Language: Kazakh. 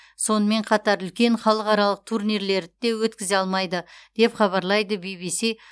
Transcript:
сонымен қатар үлкен халықаралық турнирлерді де өткізе алмайды деп хабарлайды бибиси